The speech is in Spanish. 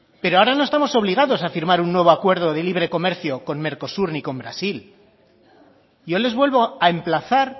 pero ahora no estamos obligados a firmar un nuevo acuerdo de libre comercio con mercosur ni con brasil yo les vuelvo a emplazar